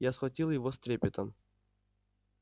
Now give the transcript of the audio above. я схватил его с трепетом